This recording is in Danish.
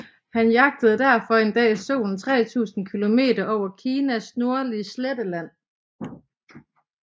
Han jagtede derfor en dag solen 3000 km over Kinas nordlige sletteland